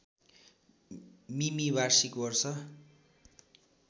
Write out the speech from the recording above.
मिमि वार्षिक वर्षा